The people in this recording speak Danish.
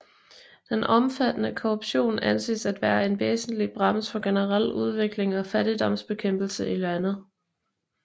Den omfattende korruption anses at være en væsentlig brems for generel udvikling og fattigdomsbekæmpelse i landet